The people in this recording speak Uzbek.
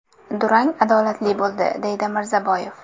Durang adolatli bo‘ldi”, deydi Mirzaboyev.